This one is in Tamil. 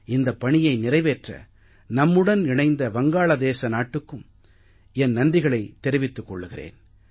இந்தப் பணியை நிறைவேற்ற நம்முடன் இணைந்த வங்காளதேச நாட்டுக்கும் என் நன்றிகளைத் தெரிவித்துக் கொள்கிறேன்